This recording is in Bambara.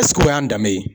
o y'an danbe ye